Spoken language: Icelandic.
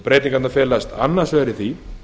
breytingarnar felast annars vegar í því